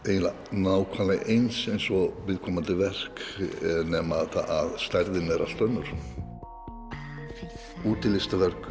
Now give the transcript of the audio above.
nákvæmlega eins eins og viðkomandi verk nema að stærðin er allt önnur útilistaverk